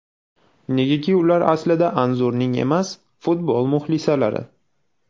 Negaki ular aslida Anzurning emas, futbol muxlisalari.